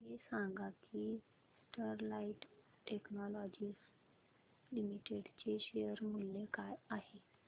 हे सांगा की स्टरलाइट टेक्नोलॉजीज लिमिटेड चे शेअर मूल्य काय आहे